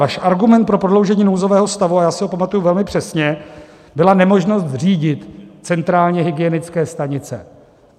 Váš argument pro prodloužení nouzového stavu, a já si ho pamatuji velmi přesně, byla nemožnost řídit centrálně hygienické stanice.